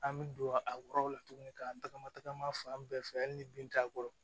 An bɛ don a kɔrɔla tuguni ka tagama tagama fan bɛɛ fɛ yanni ni bin t'a kɔrɔ